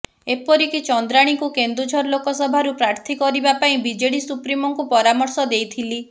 ଏପରିକି ଚନ୍ଦ୍ରାଣୀଙ୍କୁ କେନ୍ଦୁଝର ଲୋକସଭାରୁ ପ୍ରାର୍ଥୀ କରିବା ପାଇଁ ବିଜେଡି ସୁପ୍ରିମୋଙ୍କୁ ପରାମର୍ଶ ଦେଇଥିଲି